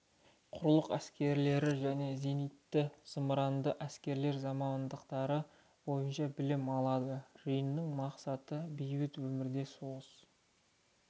құрлық әскерлері және зенитті зымыранды әскерлер мамандықтары бойынша білім алады жиынның мақсаты бейбіт өмірден соғыс